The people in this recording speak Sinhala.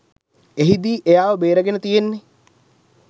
එහිදී එයාව බේරගෙන තියන්නේ